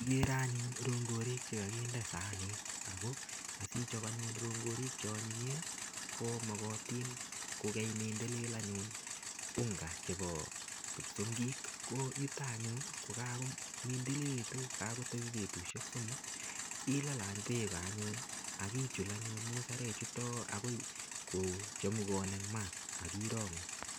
Kikere anyun rongorik chekokinde sanit ak ko sichob rongorik cheonyinyen komokotin kokeimindilil anyun unga chebo kipsongik ko yuton anyun ko kakomindililekitun katebi betushek somok ilal beek anyun ak ichul anyun musarek chuto akoi kochemukan en maa ak irongu.